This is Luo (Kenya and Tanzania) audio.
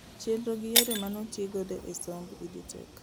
Chenro gi yore manotii godo e somb EdTech